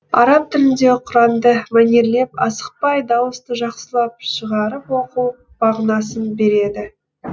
араб тілінде құранды мәнерлеп асықпай дауысты жақсылап шығарып оқу мағынасын береді